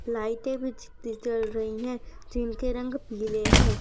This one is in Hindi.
लाइटे भी जल रही हैं जिनके रंग पीले हैं।